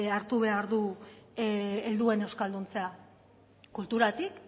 hartu behar du helduen euskalduntzea kulturatik